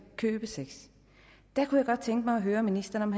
købesex jeg kunne godt tænke mig at høre ministeren